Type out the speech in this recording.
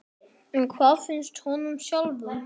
En hvað finnst honum sjálfum?